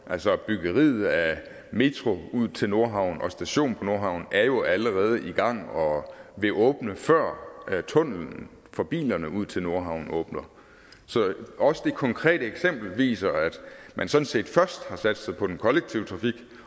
altså byggeriet af metro ud til nordhavn og en station på nordhavn er jo allerede i gang og vil åbne før tunnellen for bilerne ud til nordhavn åbner så også det konkrete eksempel viser at man sådan set først har satset på den kollektive trafik